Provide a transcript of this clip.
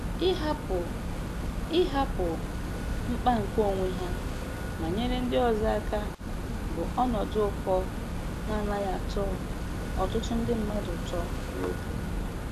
Ịhapụ Ịhapụ mkpa nke onwe ha ma nyere ndị ọzọ aka bụ ọnọdụ ụkọ na-anaghị atọ ọtụtụ ndị mmadụ ụtọ n'obi